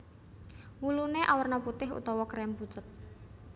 Wuluné awerna putih utawa krem pucet